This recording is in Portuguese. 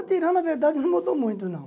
Material, na verdade, não mudou muito, não.